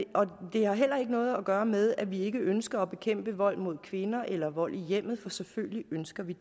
har heller ikke noget at gøre med at vi ikke ønsker at bekæmpe vold mod kvinder eller vold i hjemmet for selvfølgelig ønsker vi